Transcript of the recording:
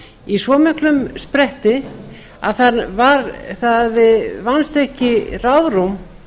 í svo miklum spretti að það vannst ekki ráðrúm